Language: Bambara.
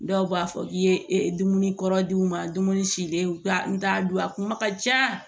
Dɔw b'a fɔ k'i ye dumuni kɔrɔ denw ma dumuni silen u ka n t'a dun a kuma ka ca